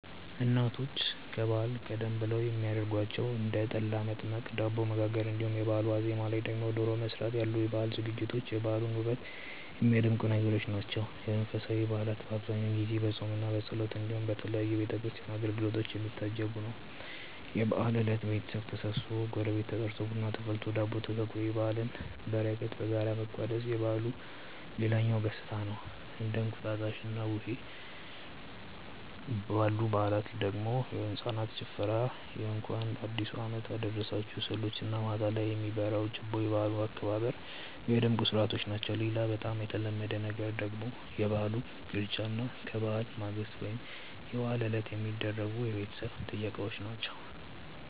እናቶች ከበዓል ቀደም ብለው የሚያረጓቸው እንደ ጠላ መጥመቅ፣ ዳቦ መጋገር እንዲሁም የበአሉ ዋዜማ ላይ ደግሞ ዶሮ መስራት ያሉ የበዓል ዝግጅቶች የበዓሉን ውበት የሚያደምቁ ነገሮች ናቸው። የመንፈሳዊ በዓላት በአብዛኛው ጊዜ በፆምምና በጸሎት እንዲሁም በተለያዩ የቤተ ክርስቲያን አገልግሎቶች የሚታጀብ ነው። የበዓል እለት ቤተሰብ ተሰብስቦ፣ ጎረቤት ተጠርቶ፣ ቡና ተፈልቶ፣ ዳቦ ተጋግሮ የበዓልን በረከት በጋራ መቋደስ የበዓሉ ሌላኛው ገፅታ ነው። እንደ እንቁጣጣሽና ቡሄ ባሉ በዓላት ላይ ደግሞ የህፃናት ጭፈራ የእንኳን አዲሱ አመት አደረሳችሁ ስዕሎች እና ማታ ላይ የሚበራው ችቦ የበዓል አከባበሩን ሚያደምቁ ስርዓቶች ናቸው። ሌላ በጣም የተለመደ ነገር ደግሞ የበዓል ቅርጫ እና ከበዓል ማግስት ወይም የበዓል ዕለት የሚደረጉ የቤተሰብ ጥየቃዎች ናቸው።